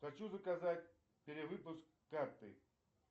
хочу заказать перевыпуск карты